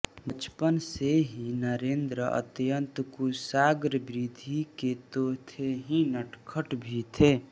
बचपन से ही नरेन्द्र अत्यन्त कुशाग्र बुद्धि के तो थे ही नटखट भी थे